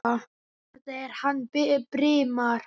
Þetta er hann Brimar.